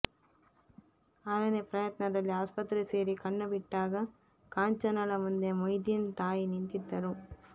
ಆರನೇ ಪ್ರಯತ್ನದಲ್ಲಿ ಆಸ್ಪತ್ರೆ ಸೇರಿ ಕಣ್ಣುಬಿಟ್ಟಾಗ ಕಾಂಚನಾಳ ಮುಂದೆ ಮೊಯ್ದಿನ್ ತಾಯಿ ನಿಂತಿದ್ದರು